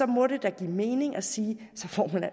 må det da give mening at sige at